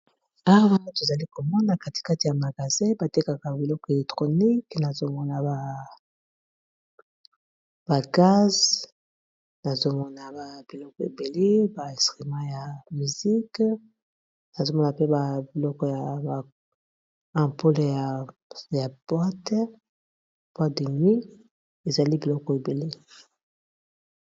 Awa tozali komona katikati ya magasin batekaka biloko electronique nazomona ba gaz nazomona ba biloko ebele ba instrument ya musik nazomona pe ba biloko ya ampoule ya boîte boîte de nuit ezali biloko ebele.